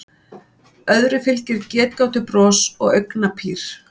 Öðru fylgir getgátubros og augnapír.